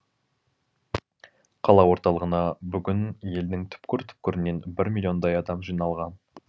қала орталығына бүгін елдің түкпір түкпірінен бір миллиондай адам жиналған